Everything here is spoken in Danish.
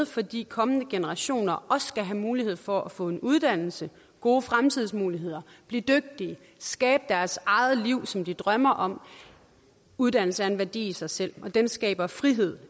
fordi kommende generationer også skal have mulighed for at få en uddannelse gode fremtidsmuligheder blive dygtige skabe deres eget liv som de drømmer om uddannelse er en værdi i sig selv og det skaber frihed